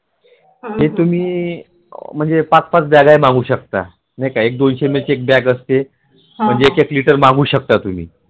हे तुम्ही म्हणजे पाच पाच बॅगा या मागु शकता तुम्ही